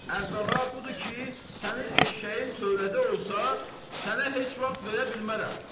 Əvvəla budur ki, sənin eşşəyin tövlədə olsa, sənə heç vaxt verə bilmərəm.